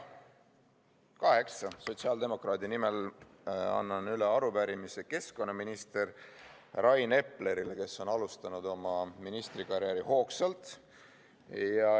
Kaheksa sotsiaaldemokraadi nimel annan üle arupärimise keskkonnaminister Rain Eplerile, kes on hoogsalt alustanud oma ministrikarjääri.